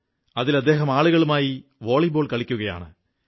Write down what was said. അതിൽ അദ്ദേഹം ആളുകളുമായി വോളിബോൾ കളിക്കുകയാണ്